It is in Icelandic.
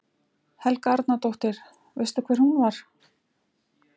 Helga Arnardóttir: Veistu hver hún var?